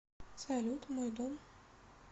салют мой дом